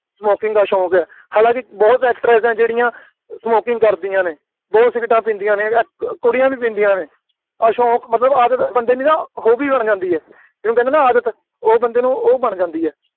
smoking ਦਾ ਸ਼ੌਂਕ ਹੈ, ਹਲਾਂਕਿ ਬਹੁਤ actress ਨੇ ਜਿਹੜੀਆਂ smoking ਕਰਦੀਆਂ ਨੇ, ਬਹੁਤ ਸਿਗਰੇਟਾਂ ਪੀਂਦੀਆਂ ਨੇ, ਅਹ ਕੁੜੀਆਂ ਵੀ ਪੀਂਦੀਆ ਨੇ, ਆਹ ਸ਼ੌਂਕ, ਮਤਬਲ ਆਦਤ ਬੰਦੇ ਨੂੰ ਨਾ ਹੋ ਵੀ ਉਦੋਂ ਜਾਂਦੀ ਹੈ, ਜਿਹਨੂੰ ਕਹਿੰਦੇ ਆ ਨਾ ਆਦਤ, ਉਹ ਬੰਦੇ ਨੂੰ ਉਹ ਬਣ ਜਾਂਦੀ ਹੈ,